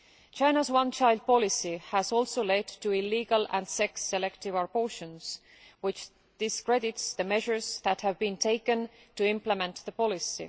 China's one child policy has also led to illegal and sex selective abortions, which discredits the measures that have been taken to implement the policy.